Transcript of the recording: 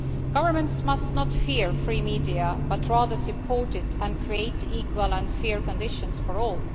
Governments must not fear free media but rather support them and create equal and fair conditions for all.